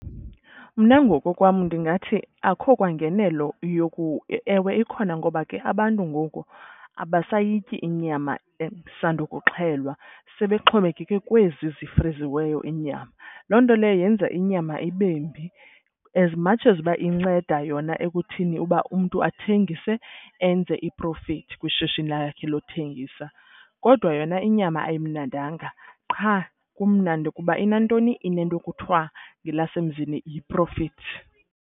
Mna ngokokwam ndingathi akho kwangenelo , ewe, ikhona ngoba ke abantu ngoku abasayityi inyama esandokuxhelwa. Sebexhomekeke kwezi zifriziweyo iinyama. Loo nto leyo yenza inyama ibembi as much as uba inceda yona ekuthini uba umntu athengise enze i-profit kwishishini lakhe lothengisa. Kodwa yona inyama ayimnandanga qha kumnandi ukuba inantoni inento ekuthiwa ngelasemzini yi-profit.